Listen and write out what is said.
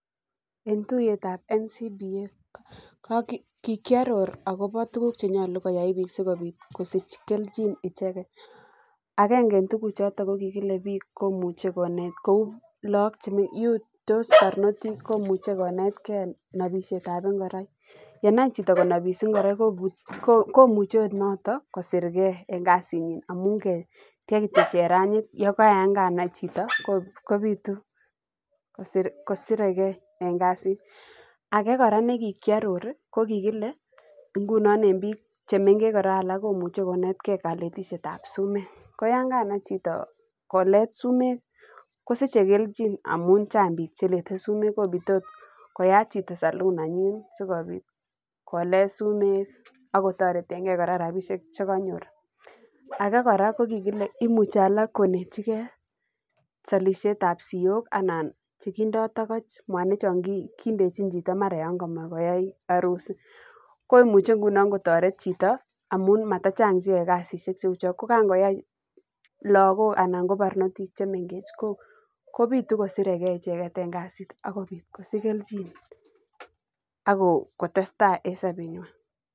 En tuiyet ab NCBA ko kigiaror agobo tuugk che nyolu koyai biik sikobit kosich kelchi icheget, agenge en tuguchoto ko kikile biik komuche konet kou lagok che mengechen. Tos barnotik komuche konetke nobishet ab ngoroik. Yenai chito nabishet ab ngoroik komuche ot noton kosirge en kasinynamun ke tiech kityo chernajit yan kanai chito kobitu kosirege en kasit. Age kora ne kikiaroro ko kigile en biik che mengechen komuche konetke kaletishet ab sumek, ko yekanai chito kolet sumek kosich kelchi amun chang biik cheletesumek, komuche ot koyat chito salon nenyit sikobit kolet sumek ak kotoretenge kora rabinik che kanyor. Age kora ko kkokile imuche alak koletyige salisiet ab siok ana mwanik che kindo togoch, chon indechin chito mara yon komoe koyai arusi. Komuche ngunono kotoret chito amun matachang cheo kasishek cheu chon. Ko kangoyai lagok anan ko barnotik chemengech kobitu kosirege icheget en kasit ak kobit kosich kelchin.